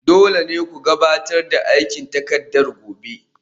Dole ne ku gabatar da aikin takarda gobe